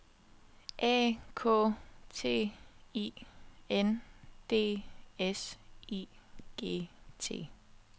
A K T I N D S I G T